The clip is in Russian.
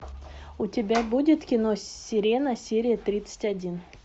у тебя будет кино сирена серия тридцать один